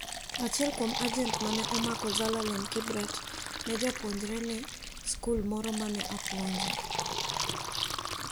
Achiel kuom ajent mane omako Zelalem Kibret ne japuonjre ne skul moro mane opuonje.